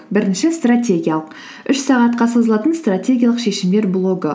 бірінші стратегиялық үш сағатқа созылатын стратегиялық шешімдер блогы